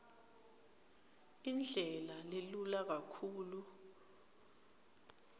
indlela lelula kakhulu